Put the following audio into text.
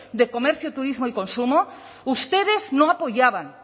de comercio turismo y consumo ustedes no apoyaban